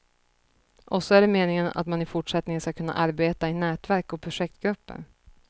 Och så är det meningen att man i fortsättningen ska kunna arbeta i nätverk och projektgrupper.